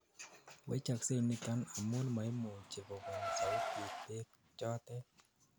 wechoksei niton amun maimuchi kobun sautit beek chotet